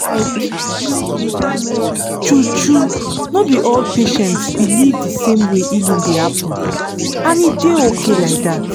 like true-true no be all patients believe the same way healing dey happen — and e dey okay like that